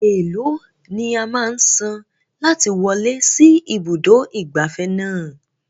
Eèló ni a máa san láti wọlé sí ibùdó ìgbafẹ́ náà?